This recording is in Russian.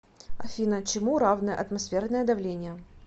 афина чему равное атмосферное давление